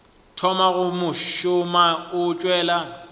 thoma go šoma o tšwela